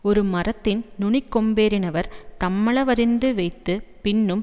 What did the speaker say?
ஒரு மரத்தின் நுனிக்கொம்பேறினவர் தம்மள வறிந்து வைத்து பின்னும்